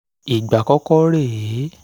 ìgbà àkọ́kọ́ rè é